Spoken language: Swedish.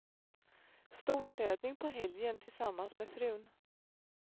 Storstädning på helgen tillsammans med frun.